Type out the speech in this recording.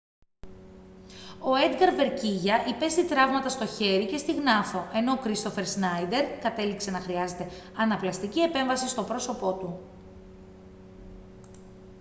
ο έντγκαρ βεγκίγια υπέστη τραύματα στο χέρι και στη γνάθο ενώ ο κρίστοφερ σνάιντερ κατέληξε να χρειάζεται αναπλαστική επέμβαση στο πρόσωπό του